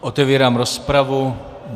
Otevírám rozpravu.